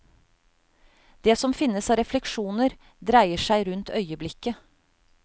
Det som finnes av refleksjoner, dreier seg rundt øyeblikket.